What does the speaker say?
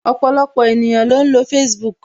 Ọpọlọpọ ènìyàn ló ń lo Facebook